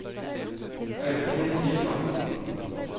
Audhild Sivertsen